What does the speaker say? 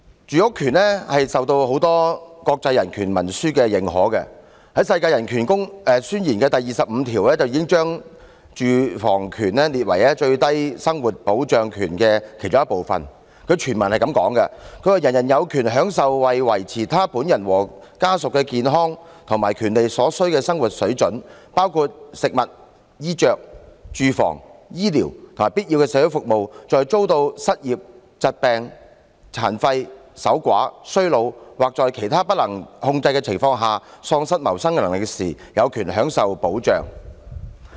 住屋權受到很多國際人權文書的認可，《世界人權宣言》第二十五條已將住屋權列為最低生活保障權的其中一部分，全文是這樣寫的："人人有權享受為維持他本人和家屬的健康和福利所需的生活水準，包括食物、衣着、住房、醫療和必要的社會服務；在遭到失業、疾病、殘廢、守寡、衰老或在其他不能控制的情況下喪失謀生能力時，有權享受保障。